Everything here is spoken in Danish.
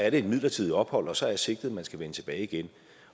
et midlertidigt ophold og så er sigtet at man skal vende tilbage igen